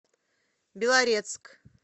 белорецк